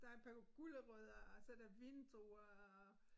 Der et par gulerødder og så der vindruer og